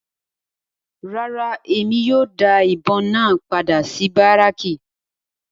Rárá, Emi kii yóò da ibon náa pada si Baracki